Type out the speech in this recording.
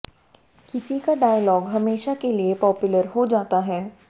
किसी का डॉयलग हमेशा के लिए पॉपुलर हो जाता है